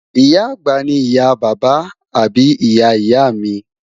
Ìyá-àgbà ni ìyá bàbá àbí ìyá ìyá mi